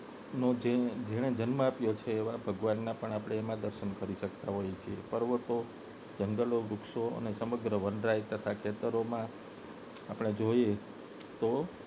તો જેને જન્મ આપ્યો છે એવા ભગવાનના પણ આપને એમાં દર્શન કરી શકતા હોઈએ છે પર્વતો જંગલો વૃક્ષો અને સમગ્ર વનરાઈ તથા ખેતરોમાં આપને જોઈએ તો